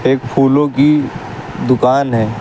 एक फूलों की दुकान है।